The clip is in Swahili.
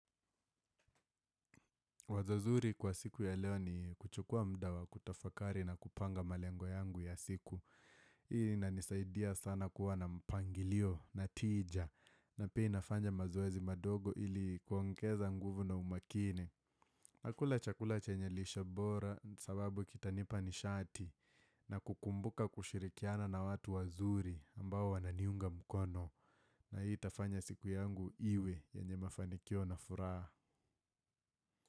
Wazo zuri kwa siku ya leo ni kuchukua muda wa kutafakari na kupanga malengo yangu ya siku. Hii ina nisaidia sana kuwa na mpangilio na tija na pia nafanya mazoezi madogo ili kuongeza nguvu na umakini. Nakula chakula chenye lishe bora sababu kitanipa nishati na kukumbuka kushirikiana na watu wazuri ambao wananiunga mkono. Na hii itafanya siku yangu iwe yenye mafanikio na furaha.